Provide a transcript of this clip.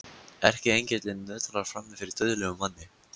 Erkiengillinn nötrar frammi fyrir dauðlegum manni.